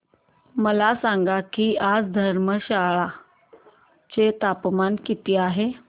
मला सांगा की आज धर्मशाला चे तापमान किती आहे